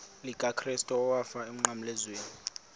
likakrestu owafayo emnqamlezweni